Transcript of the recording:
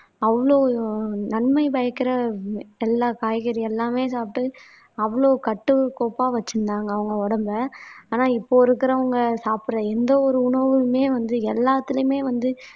அவ்ளோ நன்மை பயக்கிற எல்லா காய்கறி எல்லாமே சாப்பிட்டு அவ்வளவு கட்டுக்கோப்பா வச்சிருந்தாங்க அவங்க உடம்பை. ஆனா இப்போ இருக்கிறவங்க சாப்பிடுற எந்த ஒரு உணவுமே வந்து எல்லாத்திலையுமே வந்து